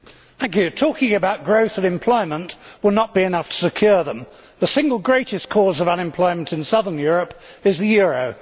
Mr President, talking about growth and employment will not be enough to secure them. The single greatest cause of unemployment in southern Europe is the euro.